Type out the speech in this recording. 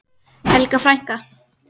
Helga frænka.